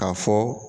K'a fɔ